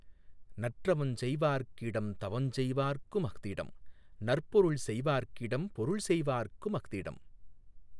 நற்றவஞ்செய் வார்க்கிடந் தவஞ்செய்வார்க் குமஃதிடம் நற்பொருள் செய்வார்க்கிடம் பொருள்செய்வார்க் குமஃதிடம்